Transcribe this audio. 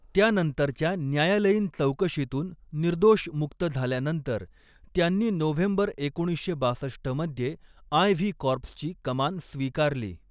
त्यानंतरच्या न्यायालयीन चौकशीतून निर्दोष मुक्त झाल्यानंतर त्यांनी नोव्हेंबर एकोणीसशे बासष्ट मध्ये आय.व्ही. कॉर्प्सची कमान स्वीकारली.